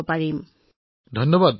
এইটোৱেই মোৰ জনসাধাৰণলৈ বাৰ্তা মহোদয়